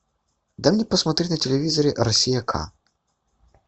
дай мне посмотреть на телевизоре россия к